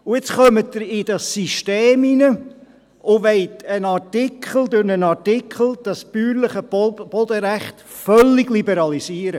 Und nun kommen Sie in das System hinein und wollen das bäuerliche Bodenrecht durch einen Artikel völlig liberalisieren.